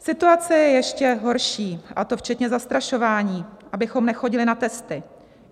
"Situace je ještě horší, a to včetně zastrašování, abychom nechodili na testy.